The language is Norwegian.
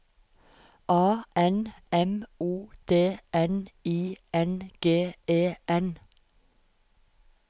A N M O D N I N G E N